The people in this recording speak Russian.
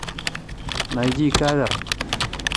найди кавер